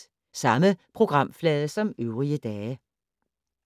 Samme programflade som øvrige dage